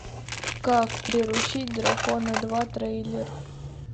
как приручить дракона два трейлер